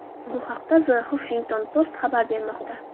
Bu haqda The Huffington Post xabar bermoqda .